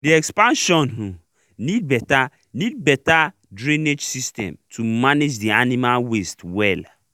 the expansion um need better need better drainage system to manage the animal waste well